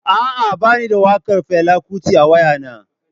A'a, ba ni da waƙar Fela Kuti a waya naa.